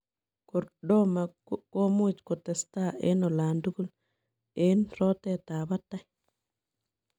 Kordoma komuuch kotestai eng olantugul eng roteet ap patet.